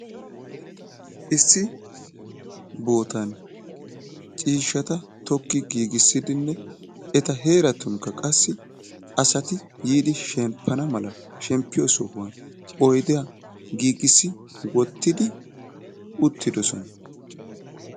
Issi bootan ciishata tokki giigissidinne eta heeratunikka qassi asati yiidi shemppana malaa sheppiyo sohuwan oydiyaa giigissi wottidi uttidosona.